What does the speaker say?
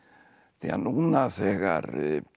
því að núna þegar